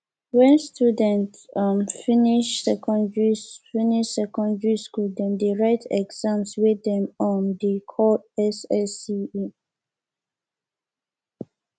wen student um dem finish secondary finish secondary skool dem dey write exam wey dem um dey call ssce